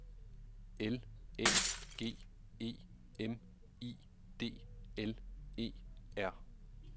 L Æ G E M I D L E R